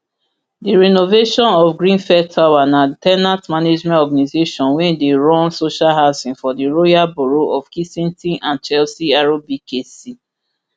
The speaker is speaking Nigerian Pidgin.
di renovation of grenfell tower na ten ant management organisation wey dey run social housing for the royal borough of kensington and chelsea rbkc